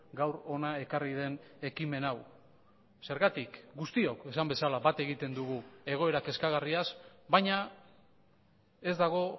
gaur hona ekarri den ekimen hau zergatik guztiok esan bezala bat egiten dugu egoera kezkagarriaz baina ez dago